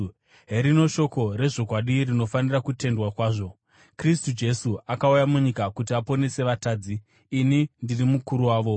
Herino shoko rezvokwadi rinofanira kutendwa kwazvo: Kristu Jesu akauya munyika kuti aponese vatadzi, ini ndiri mukuru wavo.